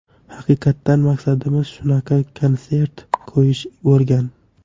Haqiqatan maqsadimiz shunaqa konsert qo‘yish bo‘lgan.